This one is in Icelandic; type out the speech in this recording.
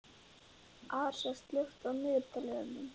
Arisa, slökktu á niðurteljaranum.